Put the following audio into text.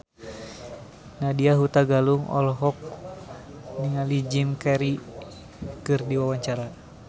Nadya Hutagalung olohok ningali Jim Carey keur diwawancara